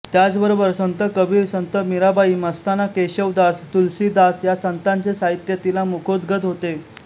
त्याचबरोबर संत कबीर संत मीराबाई मस्ताना केशवदास तुलसीदास या संतांचे साहित्य तिला मुखोद्गत होते